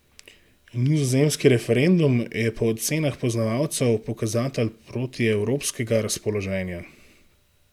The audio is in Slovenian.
Nizozemski referendum je po ocenah poznavalcev pokazatelj protievropskega razpoloženja.